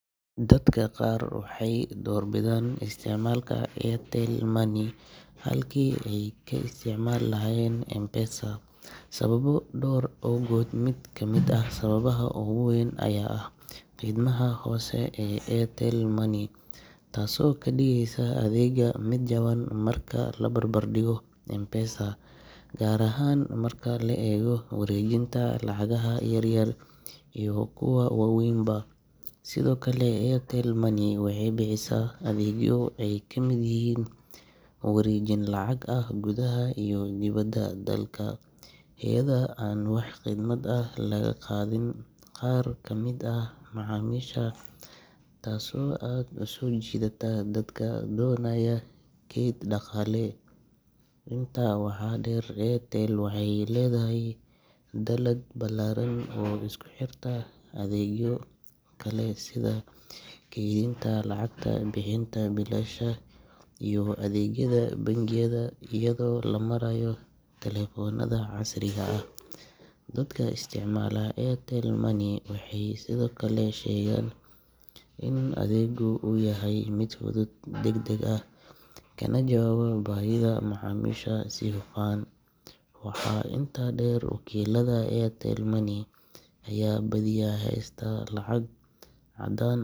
Dadka qaar waxay doorbidaan isticmaalka Airtel Money halkii ay ka isticmaali lahaayeen M-Pesa sababo dhowr ah awgood. Mid ka mid ah sababaha ugu weyn ayaa ah khidmadaha hoose ee Airtel Money, taasoo ka dhigaysa adeegga mid jaban marka la barbardhigo M-Pesa, gaar ahaan marka la eego wareejinta lacagaha yaryar iyo kuwa waaweynba. Sidoo kale, Airtel Money waxay bixisaa adeegyo ay ka mid yihiin wareejin lacag ah gudaha iyo dibadda dalka iyadoo aan wax khidmad ah laga qaadin qaar ka mid ah macaamiisha, taasoo aad u soo jiidata dadka doonaya kayd dhaqaale. Intaa waxaa dheer, Airtel waxay leedahay dallad balaaran oo isku xirta adeegyo kale sida kaydinta lacagta, bixinta biilasha, iyo adeegyada bangiyada iyadoo loo marayo telefoonada casriga ah. Dadka isticmaala Airtel Money waxay sidoo kale sheegaan in adeeggu uu yahay mid fudud, degdeg ah, kana jawaaba baahida macaamiisha si hufan. Waxaa intaa dheer, wakiillada Airtel Money ayaa badiyaa haysta lacag caddaan.